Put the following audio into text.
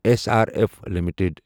S R F limited